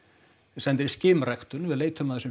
sendir í ræktun við leitum að þessum